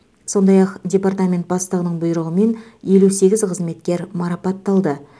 сондай ақ департамент бастығының бұйрығымен елу сегіз қызметкер марапатталды